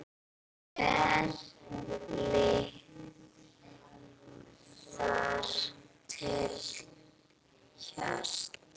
Kælið þar til hart.